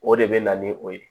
O de bɛ na ni o ye